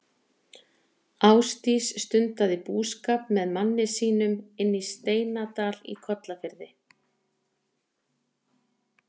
Ásdís stundaði búskap með manni sínum inni í Steinadal í Kollafirði.